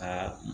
Ka